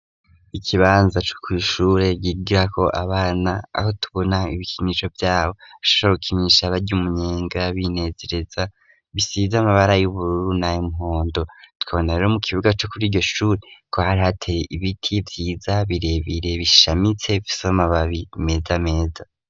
Ikibanza co kw'ishure bigirako abana aho tubona ibikinisho vyabo shokinisha, barya umunyenga binezereza bisize amabara y'ubururu nay'muhondo tukabona rero mu kibuga co kuri iryoshure ko hari hateye ibiti vyiza birebere bishamitse bifise amababi meza meza.